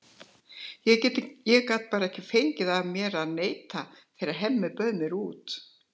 Ég gat bara ekki fengið það af mér að neita þegar Hemmi bauð mér.